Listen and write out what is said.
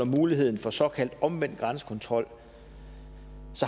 muligheden for såkaldt omvendt grænsekontrol